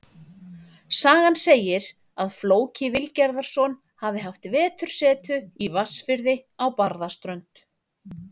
Sagan segir að Flóki Vilgerðarson hafi haft vetursetu í Vatnsfirði á Barðaströnd.